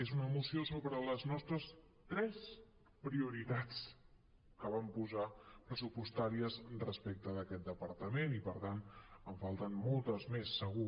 és una moció sobre les nostres tres prioritats que vam posar pressupostàries respecte d’aquest departament i per tant en falten moltes més segur